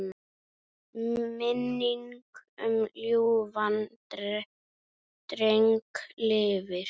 Minning um ljúfan dreng lifir.